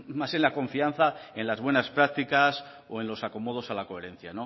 más en la confianza en las buenas prácticas o en los acomodos a la coherencia